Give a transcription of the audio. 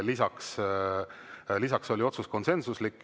Lisaks oli otsus konsensuslik.